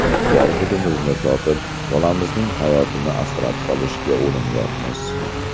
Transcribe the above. Bor budimizni sotib bolamizning hayotini asrab qolishga urinyapmiz.